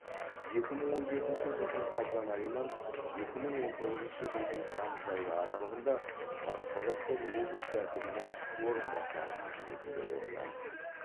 екі мың он жетінші жылдың қазан айынан екі мың он тоғызыншы жылдың тамыз айы аралығында батыс қазақстан облысы әкімінің орынбасары қызметінде болды